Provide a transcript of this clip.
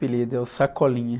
Apelido é o Sacolinha.